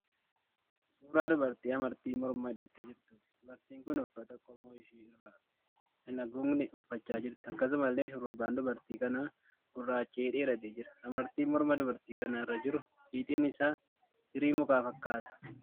Suuraa dubartii amartii mormaa hidhattee jirtuuti. Dubartiin kun uffata qoma ishee irra hin haguugne uffachaa jirti. Akkasumallee shurrubbaan dubartii kanaa gurracha'ee dheeratee jira. Amartiin morma dubartii kana irra jiru fiixeen isaa firii mukaa fakkaata.